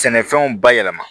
Sɛnɛfɛnw bayɛlɛma